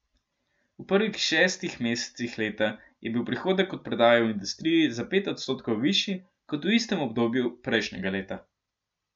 V prvih šestih mesecih leta je bil prihodek od prodaje v industriji za pet odstotkov višji kot v istem obdobju prejšnjega leta.